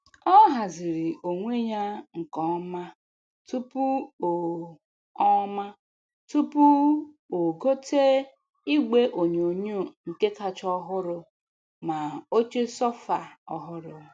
O hazirinnọ onwe ya nke ọma tupu o ọma tupu o gote igwe onyonyo nke kacha ọhụrụ ma oche sofa ọhụrụ.